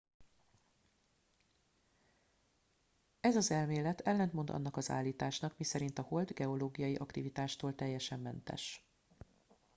ez az elmélet ellentmond annak az állításnak miszerint a hold geológiai aktivitástól teljesen mentes